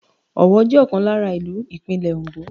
Owo jẹ́ ọ̀kan lára ìlú Ìpínlẹ̀ Òndó.